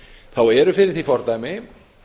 þá eru fyrir því fordæmi